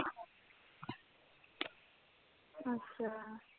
ਅੱਛਾ